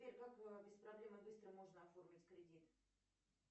сбер как без проблем и быстро можно оформить кредит